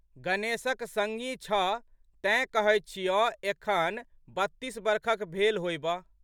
गणेशक संगी छह तेँ कहैत छियौ एखन बत्तीस बरखक भेल होएबह।